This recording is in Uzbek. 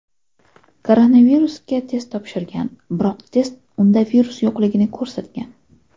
Koronavirusga test topshirgan, biroq test unda virus yo‘qligini ko‘rsatgan.